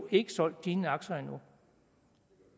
ikke solgt sine aktier